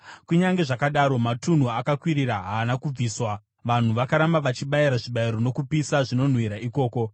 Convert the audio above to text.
Kunyange zvakadaro, matunhu akakwirira haana kubviswa; vanhu vakaramba vachibayira zvibayiro nokupisa zvinonhuhwira ikoko.